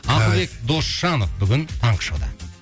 ақылбек досжанов бүгін таңғы шоуда